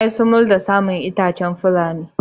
Yayi sumul da saman itacen da fulenin.